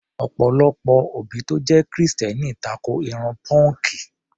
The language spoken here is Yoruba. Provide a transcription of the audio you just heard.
Ọ̀pọ̀lọpọ̀ òbí tó jẹ́ Kìrìsìtẹ́ẹ́nì tako irun pọ́ǹkì.